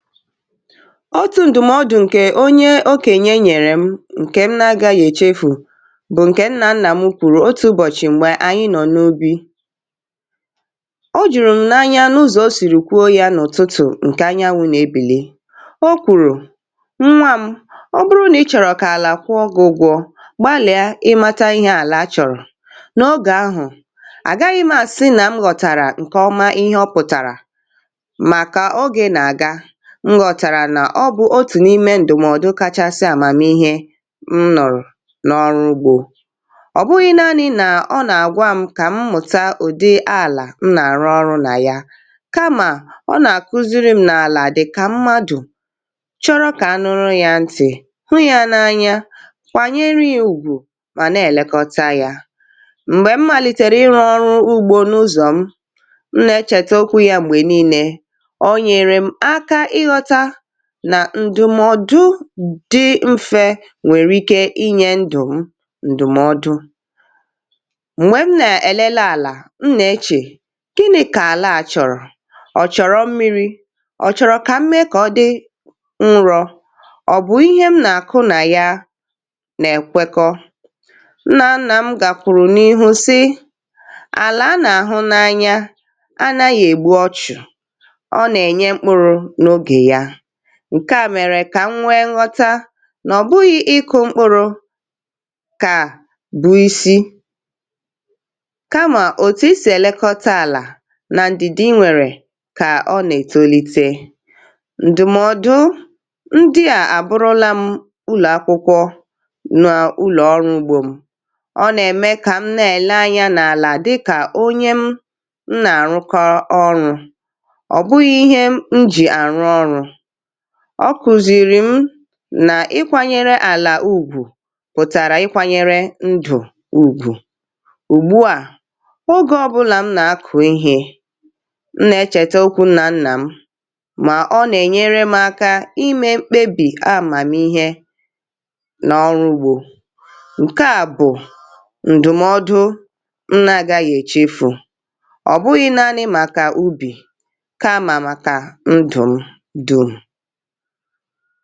otù ǹdụ̀mọdụ̇ ǹkè onye o kènye nyerè m, ǹkè m na-agȧ gà-èchefù, bụ̀ ǹkè n nà nnà m kwùrù otu̇ ụbọ̀chị̀ m̀gbè ànyị nọ̇ n’obi. o jùrù m n’anya n’ụzọ̀ o sìrìkwu o, yȧ n’ụ̀tụtụ̀ ǹkè anyị anwụ̇ nà-ebèlè, o kwùrù, “nwa m, ọ bụrụ nà ị chọ̀rọ̀ kà àlà kwụọ ụgwọ̇, gbalìa ị mȧtȧ ihe àlà chọ̀rọ̀.” n’ogè ahụ̀, àgaghị m asị nà m ghọ̀tàrà ǹkè ọma ihe ọ pụ̀tàrà, m gà ọtàrà nà ọ bụ otù n’ime ǹdùmọdụ kachasị àmàmihe m nọ̀rọ̀ n’ọrụ ugbȯ. ọ̀ bụghị̇ naanị̇ nà ọ nà-àgwa m kà m mụ̀ta ụ̀dị alà m nà-àrụ ọrụ nà ya, kamà ọ nà-àkụziri m nà àlà dị̀ kà mmadù — chọrọ kà anụrụ ya ntị̀, hụ ya n’anya, kwànyere ya ùgwù, mà nà èlekọta ya. um m̀gbè m màlìtèrè ịrụ̇ ọrụ ugbȯ n’ụzọ̀ m, mụ̀ nà echète okwu ya gbè niilė, nà ǹdùmọdụ dị mfė nwèrè ike inyė ǹdụ̀ m. ǹdùmọdụ m̀gbè m nà-èlele àlà m, nà-echè, “kịnị̇ kà àlà à chọ̀rọ̀? ọ̀ chọ̀rọ̀ mmiri̇? ọ̀ chọ̀rọ̀ kà m mee kà ọ dị nrọ̇? ọ̀ bụ̀ ihe m nà-àkụ nà ya nà-èkwekọ?” nà a nà m gàkwùrù n’ihu sị, “àlà a nà-àhụ n’anya, a nà ya ègbu ọchụ̀.” ǹkè a mèrè kà m nwee nghọta nà ọ̀ bụghị̇ ịkụ̇ mkpụrụ̇ kà bụ̀ isi̇, kamà òtù ị sì èlekọta àlà nà ndị̀ dị, nwèrè kà ọ nà ètolite. ǹdùmọdụ ndị à àbụrụla ụlọ̀ akwụkwọ nà ụlọ̀ ọrụ̇ ugbȯ m; ọ nà-ème kà m na-ele anyȧ n’àlà dị kà onye m m nà-àrụkọ ọrụ̇, ọ̀ bụghị̇ ihe m jì àrụ ọrụ̇. ọ kùzìrì m nà ịkwȧnyere àlà ùgwù pùtàrà ịkwȧnyere ndù ùgwù. ùgbu à, oge ọbụlà m nà-akụ̀ ehì e, nnà-echèta okwu n nà nnà m, mà ọ nà-ènyere m aka imė mkpebì a mà m̀ihe nà ọrụ ugbȯ. ǹke à bụ̀ ǹdù̀mọdụ nnà-agȧ yà èchefu, ọ̀ bụghị̇ naanị̇ màkà ubì kamà màkà ndụ̀ ndụ̀ ha bịa.